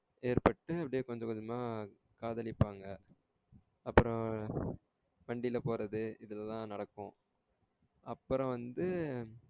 ஏற்பட்டு அப்டியே கொஞ்சம் கொஞ்சமா காதலிப்பாங்க அப்புறம் வண்டியில போறது இது எல்லாம் நடக்கும். அப்பறம் வந்து